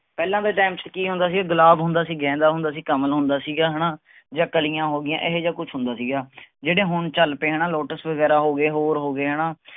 ਪਹਿਲਾਂ ਦੇ ਚ ਕੀ ਹੁੰਦਾ ਸੀ ਗੁਲਾਬ ਹੁੰਦਾ ਸੀ ਗੇਂਦਾ ਹੁੰਦਾ ਸੀ ਕਮਲ ਹੁੰਦਾ ਸੀਗਾ ਹੈਨਾ ਜਾਂ ਕਲੀਆਂ ਹੋਗੀਆਂ ਏਹੇ ਜੇਹਾ ਕੁੱਛ ਹੁੰਦਾ ਸੀਗਾ ਜਿਹੜੇ ਹੁਣ ਚਲ ਪਏ ਹੈਨਾ ਵਗੈਰਾ ਹੋ ਗਏ ਹੋਰ ਹੋ ਗਏ ਹੈਨਾ